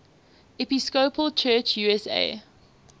episcopal church usa